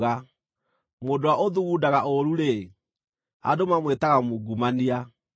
Mũndũ ũrĩa ũthugundaga ũũru-rĩ, andũ mamwĩtaga mungumania.